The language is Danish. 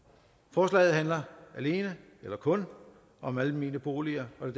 forslaget handler kun om almene boliger og det